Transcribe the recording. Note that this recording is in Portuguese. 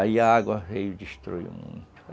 Aí a água veio e destruiu muito.